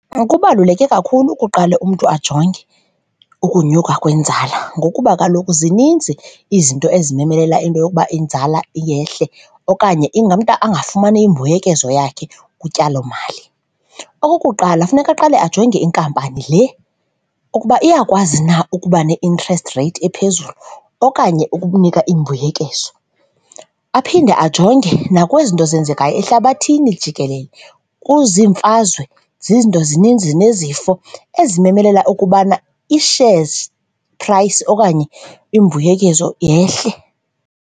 Kubaluleke kakhulu ukuqala umntu ajonge ukunyuka kwenzala ngokuba kaloku zininzi izinto ezimemelela into yokuba inzala yehle okanye umntu angafumana imbuyekezo yakhe kutyalomali. Okokuqala, funeka aqale ajonge inkampani le ukuba iyakwazi na ukuba ne-interest rate ephezulu okanye ukukunika imbuyekezo. Aphinde ajonge nakwezi nto ezenzekayo ehlabathini jikelele, kuziimfazwe, zizinto zininzi nezifo ezimemelela ukubana ii-shares price okanye imbuyekezo yehle.